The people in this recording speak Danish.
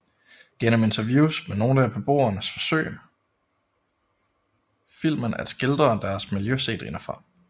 Gennem interviews med nogle af beboerne forsøger filmen at skildre deres miljø set indefra